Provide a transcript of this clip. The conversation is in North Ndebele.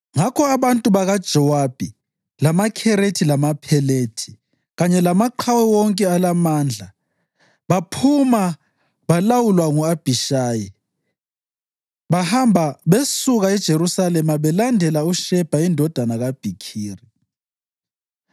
Ngakho abantu bakaJowabi lamaKherethi lamaPhelethi kanye lamaqhawe wonke alamandla baphuma belawulwa ngu-Abhishayi. Bahamba besuka eJerusalema belandela uShebha indodana kaBhikhiri.